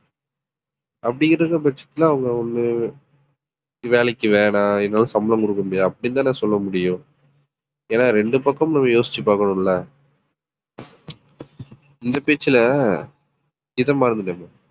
அப்படி இருக்கும்பட்சத்துல அவங்க வந்து வேலைக்கு வேணாம் என்னால சம்பளம் கொடுக்க முடியாது அப்படின்னுதானே சொல்ல முடியும் ஏன்னா இரண்டு பக்கமும் நம்ம யோசிச்சு பார்க்கணும்ல இந்த பேச்சுல ஆஹ் இதை மறந்துட்டேன்